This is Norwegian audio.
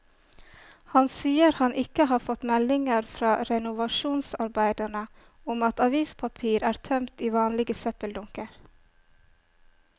Han sier han ikke har fått meldinger fra renovasjonsarbeiderne om at avispapir er tømt i vanlige søppeldunker.